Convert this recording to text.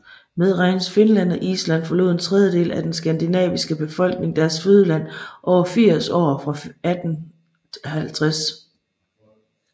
Medregnes Finland og Island forlod en tredjedel af den skandinaviske befolkning deres fødeland over firs år fra 1850